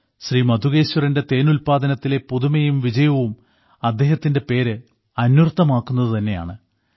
ശ്രീ മധുകേശ്വറിന്റെ തേനുല്പാദനത്തിലെ പുതുമയും വിജയവും അദ്ദേഹത്തിന്റെ പേര് അന്വർത്ഥമാക്കുന്നതു തന്നെയാണ്